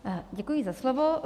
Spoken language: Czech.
Děkuji za slovo.